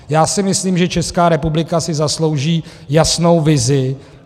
Já si myslím, že Česká republika si zaslouží jasnou vizi.